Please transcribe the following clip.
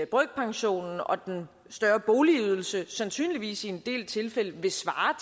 brøkpensionen og den større boligydelse sandsynligvis i en del tilfælde vil svare